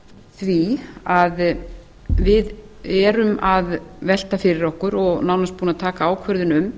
því að við erum að velta fyrir okkur og nánast búin að taka ákvörðun um